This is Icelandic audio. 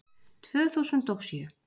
Tvö þúsund og sjö